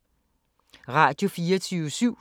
Radio24syv